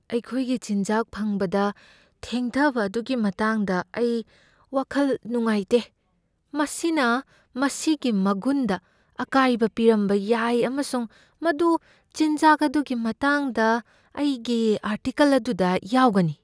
ꯑꯩꯈꯣꯏꯒꯤ ꯆꯤꯟꯖꯥꯛ ꯐꯪꯕꯗ ꯊꯦꯡꯊꯕ ꯑꯗꯨꯒꯤ ꯃꯇꯥꯡꯗ ꯑꯩ ꯋꯥꯈꯜ ꯅꯨꯉꯉꯥꯏꯇꯦ꯫ ꯃꯁꯤꯅ ꯃꯁꯤꯒꯤ ꯃꯒꯨꯟꯗ ꯑꯀꯥꯏꯕ ꯄꯤꯔꯝꯕ ꯌꯥꯏ ꯑꯃꯁꯨꯡ ꯃꯗꯨ ꯆꯤꯟꯖꯥꯛ ꯑꯗꯨꯒꯤ ꯃꯇꯥꯡꯗ ꯑꯩꯒꯤ ꯑꯥꯔꯇꯤꯀꯜ ꯑꯗꯨꯗ ꯌꯥꯎꯒꯅꯤ꯫